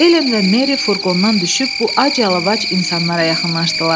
Elen və Meri furqondan düşüb bu ac-yalavac insanlara yaxınlaşdılar.